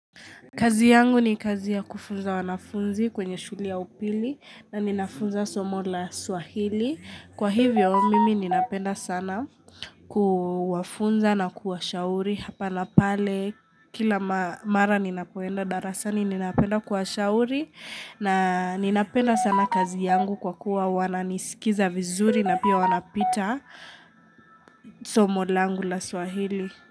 Kazi yangu ni kazi ya kufunza wanafunzi kwenye shule ya upili na ninafunza somo la swahili Kwa hivyo mimi ninapenda sana kuwafunza na kuwa shauri Hapa napale kila mara ninapoenda darasani ninapenda kuwa shauri na ninapenda sana kazi yangu kwa kuwa wananisikiza vizuri na pia wanapita somo langu la swahili.